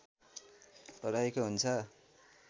रहेको हुन्छ